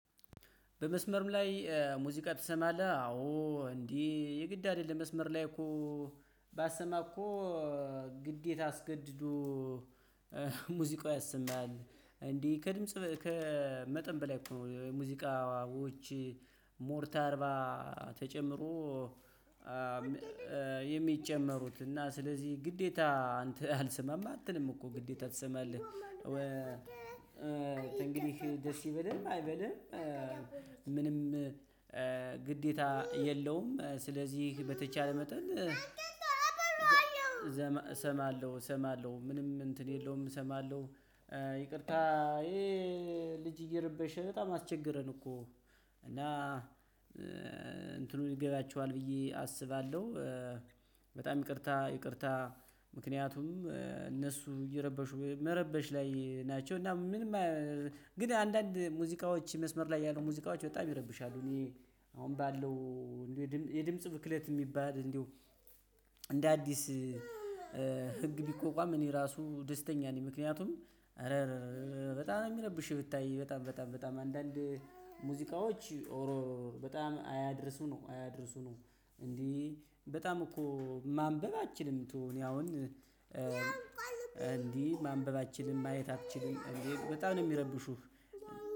በመስመርም ላይ ሙዚቃ ትሰማለህ? አዎ እንዴ የግድ አይደለም መስመር ላይ እኮ። ባሰማ እኮ። ግዴታ አስገድዶ ሙዚቃሙ ያሰማል። እንዴ ከድምጽ ከመጠን በላይ እኮ ነው። የሙዚቃዎች ሞርታርባ ተጨምሮ። የሚጨመሩት እና ስለዚህ ግዴታ አንተ አልሰማም አትልም እኮ ግዴታ ትሰማለህ። እንግዲህ ደስ ይበልህም አይበልህም። ምንም ግዴታ የለውም ስለዚህ በተቻለ መጠን። ዘመ እሰማለሁ እሰማለሁ ምንም እንትን የለውም እሰማለሁ። ይቅርታ። ይሄ ልጅ እየረበሽ በጣም አስቸግረን እኮ እና እንትኑ ይገባችኋል ብዬ አስባለሁ። በጣም ይቅርታ ይቅርታ። ምክንያቱም እነሱ እየረበሹ መረበሽ ላይ ናቸው። እና ምንም ግን አንዳንድ ሙዚቃዎች መስመር ላይ ያሉ ሙዚቃዎች በጣም ይረብሻሉ። እኔ አሁን ባለው የድምጽ ብክለት የሚባል። እንደ አዲስ ህግ ቢቆቋም እኔ ራሱ ደስተኛ ነኝ። ምክንያቱም አረ በጣም የሚረብሽ ብታይ በጣም በጣም በጣም አንዳንድ ሙዚቃዎች በጣም አያድርሱ ነው አያድርሱ ነው። እንዴ በጣም እኮ ማንበብ አትችልም ተወው እኔ አሁን እንዴ ማንበብ ማየት አትችልም? በጣም ነው የሚረብሹህ